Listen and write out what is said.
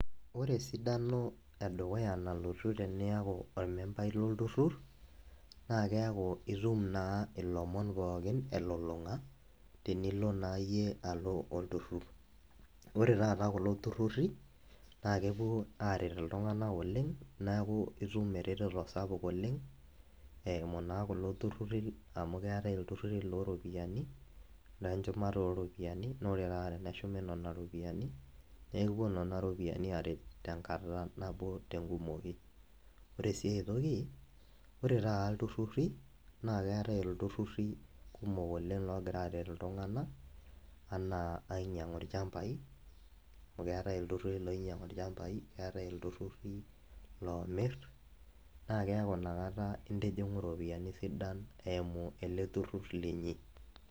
Ore esidano edukuya nalotu teniaku ormembai lolturtur naa keaku itum naa ilomon pookin elulunga tenilo naa iyie alo olturrur . Ore taata kulo tururi naa kepuo aret iltunganak oleng , naaku itum ereteto sapuk oleng , eimu naa kulo tururi amu keetae iltururi looropiyiani lenchumata oropiyiani naa ore taata teneshumi nena ropiyiani , naa ekipuo nena ropiyiani aret tenkata nabo tenkumoki . Ore siae toki , ore taata iltururi naa keetae iltururi kumok oleng logira aret iltunganak anaa ainyiangu ilchambai, amu keetae iltururi loinyiangu ilchambai , keetae iltururi lomir naa keaku inakata intijingu iropiyiani sidan eimu ele tururur linyi.